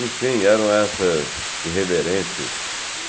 Enfim, eram essas irreverências.